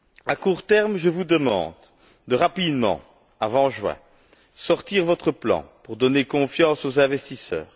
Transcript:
À court terme, je vous demande de présenter rapidement, avant juin, votre plan, pour donner confiance aux investisseurs.